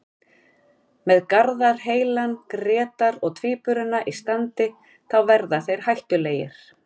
Með Garðar heilan, Grétar og Tvíburana í standi þá verða þeir hættulegir.